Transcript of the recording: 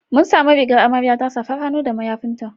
Mun samu rigar amaryarta, safar hannu da mayafinta.